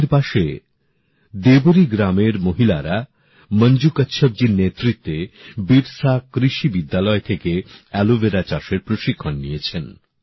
রাঁচির পাশে দেবরি গ্রামের মহিলারা মঞ্জু কাচ্ছপজীর নেতৃত্বে বিরসা কৃষি বিদ্যালয় থেকে এলোভেরা চাষের প্রশিক্ষণ নিয়েছেন